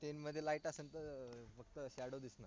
tent मध्ये light असेल तर फक्त shadow दिसेल